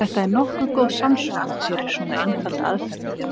Þetta er nokkuð góð samsvörun fyrir svona einfalda aðferð.